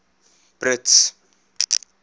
brits